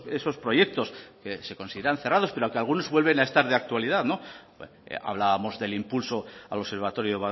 que esos proyectos que se consideran cerrados pero que algunos vuelven a estar de actualidad hablábamos del impulso al observatorio